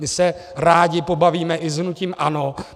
My se rádi pobavíme i s hnutím ANO.